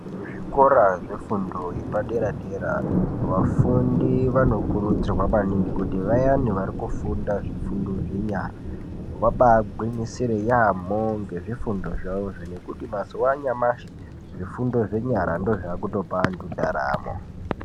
Kuzvikora zvefundo yepadera dera vafundi vanokurudzirwa maningi vari kufunda zvifundo zvenyara vabaagwinyisire yaamho ngezvifundo zvavozvo ngekuti mazuwa anyamashi zvifundo zvenyara ndozvaakutopa antu ndaramo.